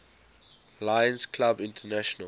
lions clubs international